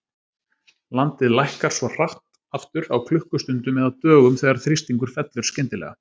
Landið lækkar svo hratt aftur, á klukkustundum eða dögum, þegar þrýstingur fellur skyndilega.